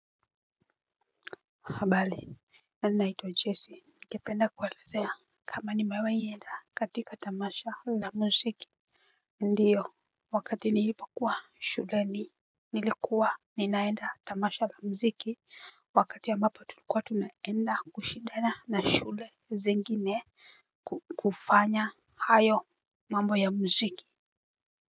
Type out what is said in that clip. Habali, na naitwa Jessy. Ningependa kuwaelezea kama nimewahi enda katika tamasha la muziki. Ndiyo, wakati niipokuwa shuleni nilikuwa ninaenda tamasha la mziki. Wakati ambapo tulikuwa tumeenda kushidana na shule zingine kufanya hayo mambo ya mziki.